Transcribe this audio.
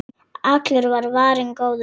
Allur var varinn góður.